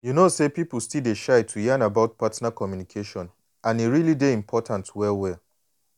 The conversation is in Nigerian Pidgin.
you know say people still dey shy to yan about partner communication and e really dey important well well.